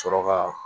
Sɔrɔ ka